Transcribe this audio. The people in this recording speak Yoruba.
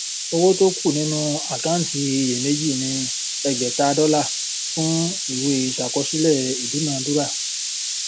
owó tó kú nínú àkáǹtí iyèméjì ni ẹgbèta dọlà fún ìwé iṣàkọsílẹ ìdúnaúrà